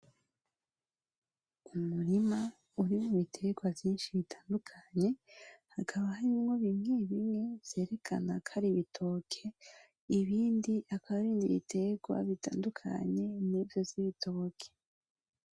Umurima urimwo iberwa vyishi bitandukanye hakaba harimwo bimwebimwe vyerekana kari ibitoke ibindi hakaba harimye ibiterwa bitandukanye nivyo vy’ibitoke.